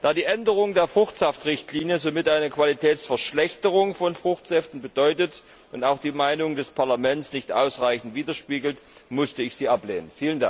Da die Änderung der Fruchtsaftrichtlinie somit eine Qualitätsverschlechterung von Fruchtsäften bedeutet und auch die Meinung des Parlaments nicht ausreichend widerspiegelt, musste ich sie ablehnen.